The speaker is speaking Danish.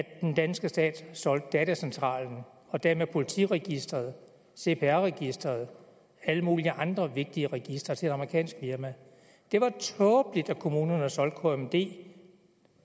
at den danske stat solgte datacentralen og dermed politiets registre cpr registeret og alle mulige andre vigtige registre til et amerikansk firma det var tåbeligt at kommunerne solgte kmd